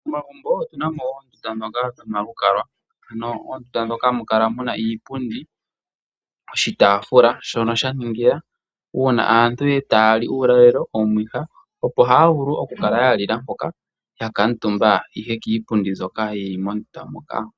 Momagumbo otu na mo oondunda ndhoka dhomalukalwa, ano mondunda mono hamu kala mu na iipundi, oshitaafula, shono sha ningila uuna aantu taa li uulalelo, omwiha, opo haya vulu okukala ya lila mpoka ya kuutumba ihe kiipundi mbyoka yi li mondunda moka.